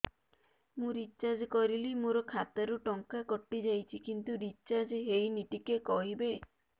ମୁ ରିଚାର୍ଜ କରିଲି ମୋର ଖାତା ରୁ ଟଙ୍କା କଟି ଯାଇଛି କିନ୍ତୁ ରିଚାର୍ଜ ହେଇନି ଟିକେ କହିବେ